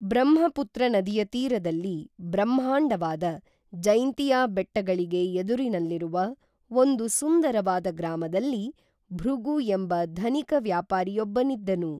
ಬ್ರಹ್ಮಪುತ್ರನದಿಯ ತೀರದಲ್ಲಿ ಬ್ರಹ್ಮಾಂಡವಾದ, ಜೈಂತಿಯಾ ಬೆಟ್ಟಗಳಿಗೆ ಎದುರಿನಲ್ಲಿರುವ, ಒಂದು ಸುಂದರವಾದ ಗ್ರಾಮದಲ್ಲಿ, ಭೃಗು ಎಂಬ ಧನಿಕ ವ್ಯಾಪಾರಿ ಯೊಬ್ಬನಿದ್ದನು